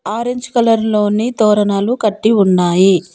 Orange colour లోని తోరణాలు కట్టి ఉన్నాయి.